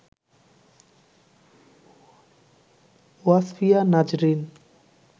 Wasfia Nazrin